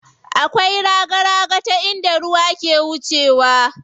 Akwai raga raga ta inda ruwa ke wucewa.